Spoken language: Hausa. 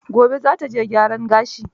Gobe za ta je gyaran gashi.